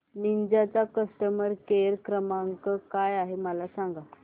Ninja चा customer care क्रमांक काय आहे मला सांगा